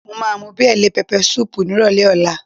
Mo máa mú bíà lé pẹpẹ súùpù nírọ̀lẹ́ ọ̀la